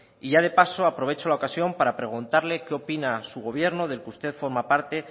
y ya de paso aprovecho la ocasión para preguntarle qué opina su gobierno del que usted forma parte